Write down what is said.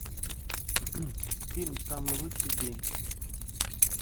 фильм самый лучший день